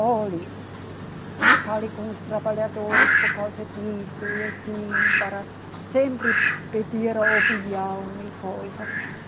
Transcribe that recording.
Olhe, fale com os trabalhadores por causa disso, assim, para sempre pedir a opinião e coisa.